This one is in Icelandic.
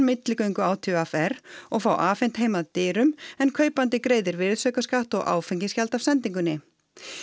milligöngu á t v r og fá afhent heim að dyrum en kaupandi greiðir virðisaukaskatt og áfengisgjald af sendingunni